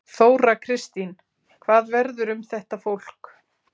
Þóra Kristín: Hvað verður um þetta fólk?